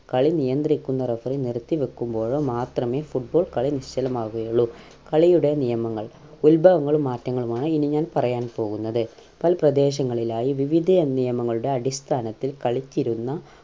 കളി നിയന്ത്രിക്കുന്ന referee നിർത്തി വക്കുമ്പോഴോ മാത്രമെ football കളി നിശ്ചലമാകുകയുള്ളു കളിയുടെ നിയമങ്ങൾ ഉൽഭവങ്ങളും മാറ്റങ്ങളുമാണ് ഇനി ഞാൻ പറയാൻ പോകുന്നത് പല പ്രദേശങ്ങളിലായി വിവിധ അഹ് നിയമങ്ങളുടെ അടിസ്ഥാനത്തിൽ കളിച്ചിരുന്ന